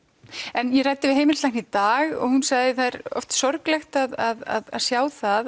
en ég ræddi við heimilislækni í dag og hún sagði að það er oft sorglegt að sjá það